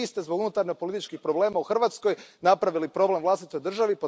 Znači, Vi ste zbog unutarnjopolitičkih problema u Hrvatskoj napravili problem vlastitoj državi.